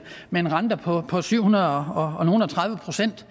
med en rente på på syvhundredeognogleogtredive procent